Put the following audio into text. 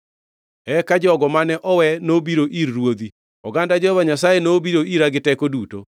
“Eka jogo mane owe nobiro ir ruodhi; oganda Jehova Nyasaye nobiro ira gi teko duto.